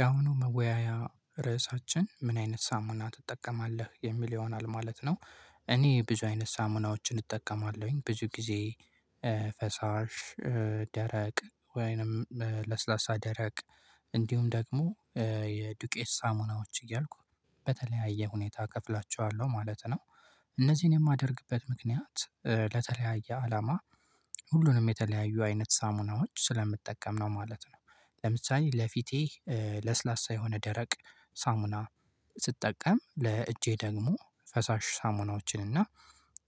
ያሁኑ መወያያ ርዕሳችን ምን አይነት ሳሙና ትጠቀማለህ የሚል ይሆናል ማለት ነው። እኔ ብዙ አይነት ሳሙናዎችን እጠቀማለሁኝ። ብዙ ጊዜ ፈሳሽ፣ ደረቅ ወይንም ለስላሳ፣ ደረቅ እንዲሁም ደግሞ የዱቄት ሳሙናዎች እያልኩ በተለያየ ሁኔታ እከፍላቸዋለሁ ማለት ነው። እነዚህን የማደርግበት ምክንያት ለተለያየ አላማ ሁሉንም የተለያዩ አይነት ሳሙናዎች ስለምጠቀም ነው ማለት ነው። ለምሳሌ ለፊቴ ለስላሳ የሆነ ደረቅ ሳሙና ስትጠቀም ለእጄ ደግሞ ፈሳሽ ሳሙናዎችን እና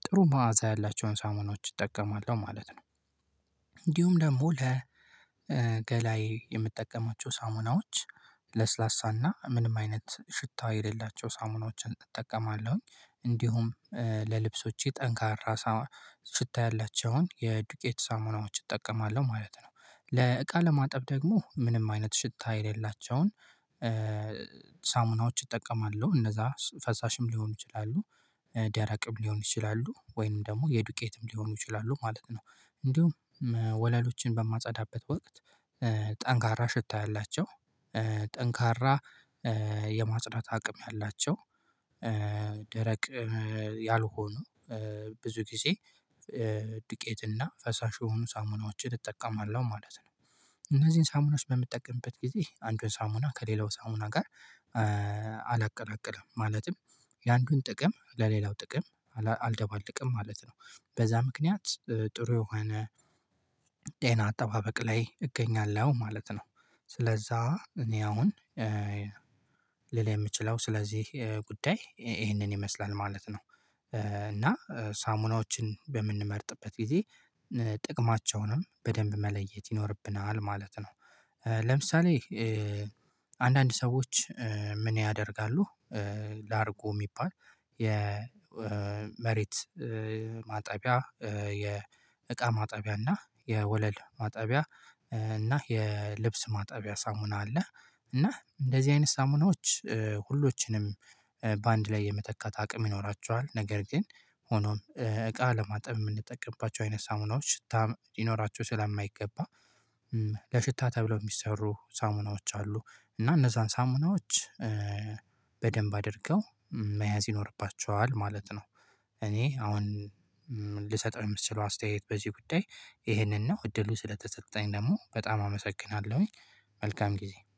ጥሩ መዓዛ ያላቸውን ሳሙናዎችን እጠቀማለሁ ማለት ነው። እንዲሁም ደግሞ ለገላዬ የምጠቀማቸው ሳሙናዎች ለስላሳና ምንም አይነት ሽታ የሌላቸው ሳሙናዎችን እጠቀማለሁኝ። እንዲሁም ለልብሶቼ ጠንካራ ሽታ ያላቸውን የዱቄት ሳሙናዎችን እጠቀማለሁ ማለት ነው። ለእቃ ለማጠብ ደግሞ ምንም አይነት ሽታ የሌላቸውን ሳሙናዎች እጠቀማለሁ እነዛ ፈሳሽም ሊሆኑ ይችላሉ፤ ደራቅም ሊሆኑ ይችላሉ፤ ወይንም ደግሞ የዱቄትም ሊሆኑ ይችላሉ ማለት ነው። እንዲሁም ወለሎችን በማጸዳበት ወቅት ጠንካራ ሽታ ያላቸው፤ ጠንካራ የማጽዳት አቅም ያላቸው፤ ደረቅ ያልሆኑ ብዙ ጊዜ ዱቄትና ፈሳሽ የሆኑ ሳሙናዎችን እጠቀማለሁ ማለት ነው። እነዚህን ሳሙናዎች በምጠቀምበት ጊዜ አንዱን ሳሙና ከሌላው ሳሙና ጋር አላቀላቅልም። ማለትም የአንዱን ጥቅም ለሌላው ጥቅም አልደባለቅም ማለት ነው። በዛ ምክንያት ጥሩ የሆነ ጤና አጠባበቅ ላይ እገኛለሁ ማለት ነው። ስለዛ እኔ አሁን ሌላ የምችለው ስለዚህ ጉዳይ ይሄንን ይመስላል ማለት ነው። እና ሳሙናዎችን በምንመርጥበት ጊዜ ጥቅማቸውንም በደንብ መለየት ይኖርብናል ማለት ነው። ለምሳሌ አንዳንድ ሰዎች ምን ያደርጋሉ? ላርጎ የሚባል የመሬት ማጠቢያ፣ የእቃ ማጠቢያ እና የወለል ማጠቢያ እና የልብስ ማጠቢያ ሳሙና አለ እና እንደዚህ አይነት ሳሙናዎች ሁሎችንም በአንድ ላይ የመተካት አቅም ይኖራችኋል። ነገር ግን ሆኖም እቃ ለማጠብ የምንጠቀምባቸው አይነት ሳሙናዎች ሽታ ልኖራቸው ስለማይገባ ለሽታ ተብለው የሚሰሩ ሳሙናዎች አሉ እና እነዛን ሳሙናዎች በደንብ አድርገው መያዝ ይኖርባቸዋል ማለት ነው። እኔ አሁን ልሰጠው የምትችለው አስተያየት በዚህ ጉዳይ ይሄንን ነው። እድሉ ስለተሰጠኝ ደግሞ በጣም አመሰግናለሁኝ። መልካም ጊዜ።